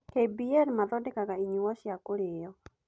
KBL mathondeka inyuo cia kũrĩo.